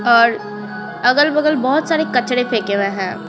और अगल-बगल बहुत सारे कचड़े फेंके हुए हैं।